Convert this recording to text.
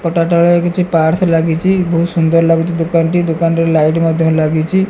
ପଟା ତଳେ କିଛି ପାଟ୍ସ ଲାଗିଚି। ବୋହୁତ ସୁନ୍ଦର ଲାଗୁଚି ଦୋକାନଟି। ଦୋକାନରେ ଲାଇଟ ମଧ୍ୟ ଲାଗିଚି।